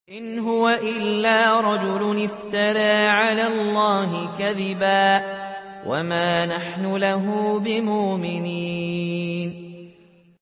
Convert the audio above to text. إِنْ هُوَ إِلَّا رَجُلٌ افْتَرَىٰ عَلَى اللَّهِ كَذِبًا وَمَا نَحْنُ لَهُ بِمُؤْمِنِينَ